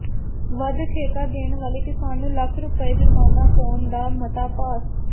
ਵੱਧ ਠੇਕਾ ਦੇਣ ਵਾਲੇ ਕਿਸਾਨ ਨੂੰ ਲੱਖ ਰੁਪਏ ਜੁਰਮਾਨਾ ਪਾਉਣ ਦਾ ਮਤਾ ਪਾਸ